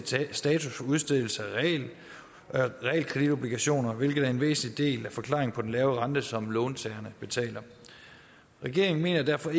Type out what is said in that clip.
status for udstedelse af realkreditobligationer hvilket er en væsentlig del af forklaringen på den lave rente som låntagerne betaler regeringen mener derfor